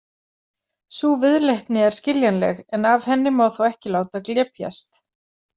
Sú viðleitni er skiljanleg, en af henni má þó ekki láta glepjast.